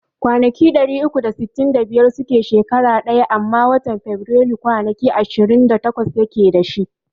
Kwanaki ɗari uku da sittin da biyar suke shekara ɗaya amma watan Faburailu kwanaki ishirin da takwas yake dashi